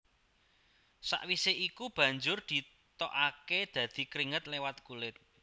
Sawisé iku banjur ditokaké dadi kringet liwat kulit